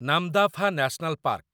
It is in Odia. Namdapha national park